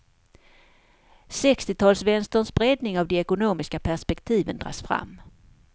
Sextiotalsvänsterns breddning av de ekonomiska perspektiven dras fram.